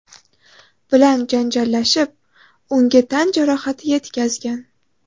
bilan janjallashib, unga tan jarohati yetkazgan.